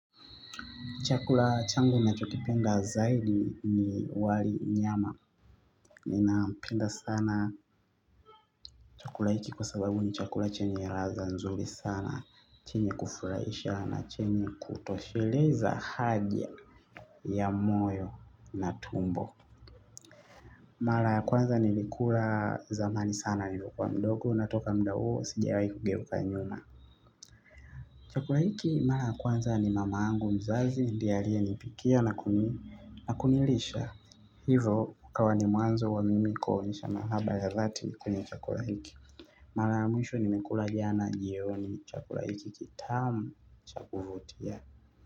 Chakula changu nachokipenda zaidi ni wali nyama. Ninapenda sana chakula hiki kwa sababu ni chakula chenye ladha nzuri sana. Chenye kufurahisha na chenye kutosheleza haja ya moyo na tumbo. Mara kwanza nilikula zamani sana nilikuwa mdogo na kutoka muda sijawai kugeuka nyuma. Chakula hiki mara kwanza ni mama yangu mzazi ndiye aliyenipikia na kunilisha. Hivyo ikawa ni mwanzo wa mimi kuonyesha mahaba ya dhati kwenye chakula hiki. Mara ya mwisho nimekula jana jioni chakula hiki kitamu chakuvutia.